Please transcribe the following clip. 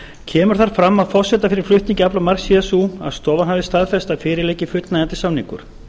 kemur þar fram að forsenda fyrir flutningi aflamarks sé sú að stofan hafi staðfest að fyrir liggi fullnægjandi samningur